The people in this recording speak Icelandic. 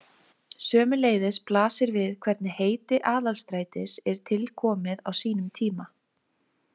Sömuleiðis blasir við hvernig heiti Aðalstrætis er til komið á sínum tíma.